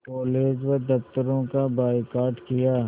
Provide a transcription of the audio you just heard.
college व दफ़्तरों का बायकॉट किया